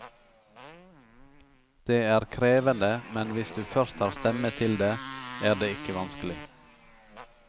Det er krevende, men hvis du først har stemme til det, er det ikke vanskelig.